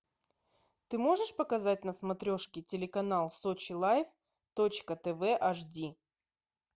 ты можешь показать на смотрешке телеканал сочи лайф точка тв аш ди